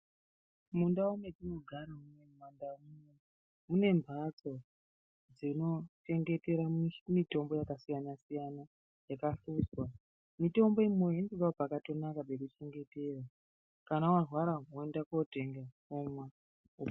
Mundau matinogara umu munembatso dzonochengetera mutombo yakasiyana siyana yakavhurwa mutombo imweni inotodawo pakanaka pekuchengetera kana warwara woenda kotenga womwa.....